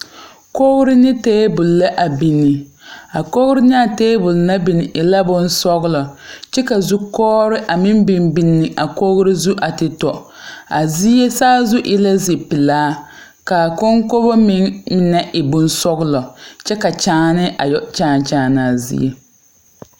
Kɔɔre ne tabule la a binne. A kɔɔre ne a tabule naŋ binne e la boŋ sɔglɔ. Kyɛ ka zu koɔre a meŋ biŋ biŋ a kɔɔre zu a te tɔ. A zie saazu e la zi pulaa. Ka a konkogo meŋ na e boŋ sɔgɔlɔ kyɛ ka kyaane a yoɔ kyaan kyaan a zie.